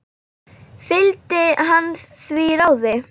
Fylgdi hann því ráði.